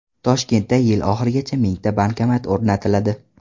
Toshkentda yil oxirigacha mingta bankomat o‘rnatiladi.